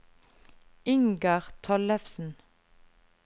Ingar Tollefsen